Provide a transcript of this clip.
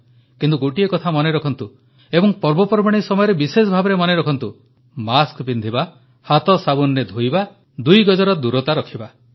କିନ୍ତୁ ଗୋଟିଏ କଥା ମନେରଖନ୍ତୁ ଏବଂ ପର୍ବପର୍ବାଣୀ ସମୟରେ ବିଶେଷଭାବେ ମନେରଖନ୍ତୁ ମାସ୍କ ପିନ୍ଧିବା ହାତ ସାବୁନରେ ଧୋଇବା ଦୁଇ ଗଜର ଦୂରତା ରଖିବା